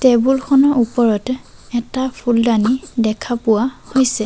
Table খনৰ ওপৰত এটা ফুলডানি দেখা পোৱা হৈছে।